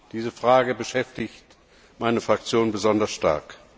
Diese Frage beschäftigt meine Fraktion besonders stark.